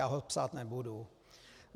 Já ho psát nebudu.